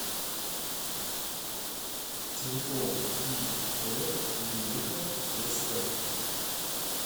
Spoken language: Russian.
телефон ип мелихов св